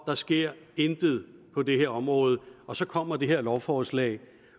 der sker intet på det her område og så kommer det her lovforslag